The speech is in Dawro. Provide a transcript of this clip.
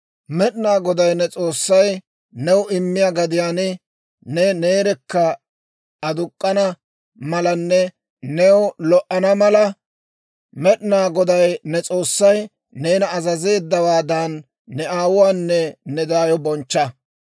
«Med'inaa Goday ne S'oossay new immiyaa gadiyaan ne neerekka aduk'k'ana malanne new lo"ana mala, Med'inaa Goday ne S'oossay neena azazeeddawaadan, ne aawuwaanne ne daayo bonchcha.